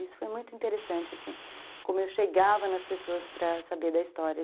Isso foi muito interessante, assim, como eu chegava nas pessoas para saber da história.